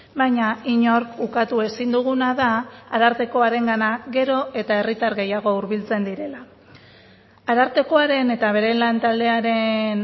baina inork ukatu ezin duguna da arartekoarengana gero eta herritar gehiago hurbiltzen direla arartekoaren eta bere lantaldearen